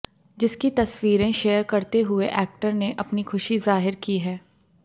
जिसकी तस्वीरें शेयर करते हुए एक्टर ने अपनी खुशी जाहिर की है